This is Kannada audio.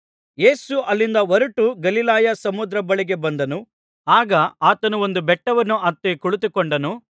ಯೇಸು ಅಲ್ಲಿಂದ ಹೊರಟು ಗಲಿಲಾಯ ಸಮುದ್ರದ ಬಳಿಗೆ ಬಂದನು ಆಗ ಆತನು ಒಂದು ಬೆಟ್ಟವನ್ನು ಹತ್ತಿ ಕುಳಿತುಕೊಂಡನು